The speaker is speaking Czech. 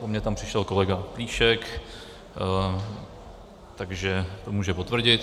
Po mně tam přišel kolega Plíšek, takže to může potvrdit.